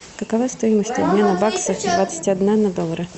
какова стоимость обмена бакса двадцать одна на доллары